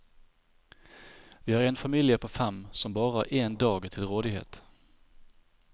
Vi er en familie på fem og har bare en dag til rådighet.